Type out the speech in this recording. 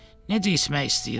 Necə içmək istəyirəm.